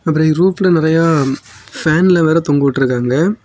அப்ரோ ருப்ல நிறைய பேன்லா வேர தொங்கவிட்ருக்காங்க.